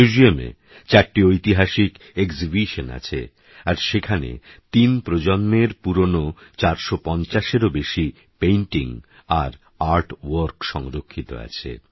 মিউজিয়ামে চারটি ঐতিহাসিক এক্সিবিশন আছে আর সেখানে তিন প্রজন্মের পুরানো ৪৫০এরও বেশি পেইন্টিং আর আর্ট ভর্ক সংরক্ষিত আছে